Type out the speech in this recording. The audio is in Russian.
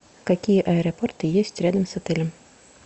какие аэропорты есть рядом с отелем